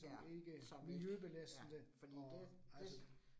Ja. Som ikke, ja fordi det, det